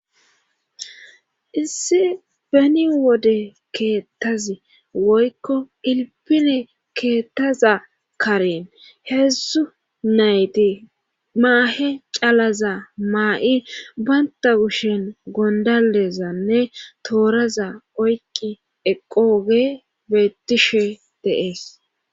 Issi beni wode keettazi woykko ilpine keettaza karen heedzdzu nayti maahe calaza maa7i baynta gushen gondalezanne tooraza oyqi eqooge bettishe deees